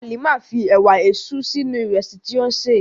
Hàlímà fí èwà èṣú sínu ìrẹ̀sì tí o n ṣé.